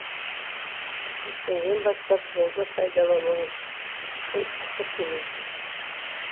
ертеңнен бастап жолды пайдаланғаныңыз үшін ақы төлейсіз